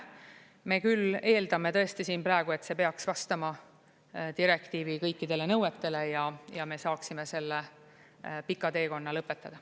Me küll eeldame tõesti siin praegu, et see peaks vastama direktiivi kõikidele nõuetele ja me saaksime selle pika teekonna lõpetada.